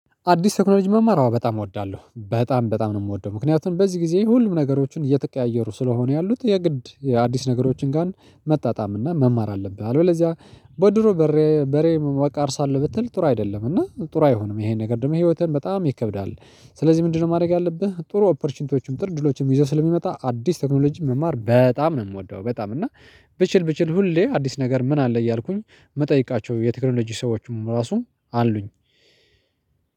አዲስ ቴክኖሎጂ መማር አዎ በጣም እወዳለሁ በጣም በጣም ነው የምወደው። ምክንያቱም በዚህ ጊዜ ሁሉም ነገሮችን እየተቀያየሩ ስለሆነ ያሉት የግድ የአዲስ ነገሮችን ጋር መጣጣም እና መማር አለብህ። አለው ለዚያ በድሮ በሬ በሬ አርሳለው ብትል ጥሩ አይደለም እና ጥሩ አይሆንም ይሄን ነገር ደግሞ ህይወትን በጣም ይከብዳል። ስለዚህ ምንድነው ማድረግ ያለብህ? ጥሩ ኦፖርቹኒቲዎችም ጥር ድሎችም ይዘው ስለሚመጣ አዲስ ቴክኖሎጂም መማር በጣም ነው የምወደው። በጣም እና ብችል ብችል ሁሌ አዲስ ነገር ምን አለ እያልኩኝ መጠየቃቸው የቴክኖሎጂ ሰዎችም ራሱም አሉኝ።